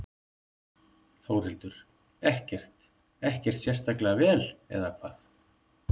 Þórhildur: Ekkert, ekkert sérstaklega vel eða hvað?